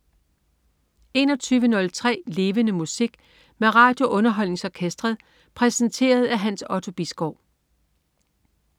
21.03 Levende Musik. Med RadioUnderholdningsOrkestret. Præsenteret af Hans Otto Bisgaard